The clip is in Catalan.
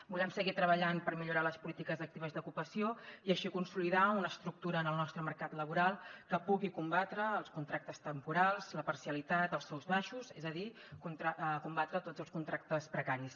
volem seguir treballant per millorar les polítiques actives d’ocupació i així consolidar una estructura en el nostre mercat laboral que pugui combatre els contractes temporals la parcialitat els sous baixos és a dir combatre tots els contractes precaris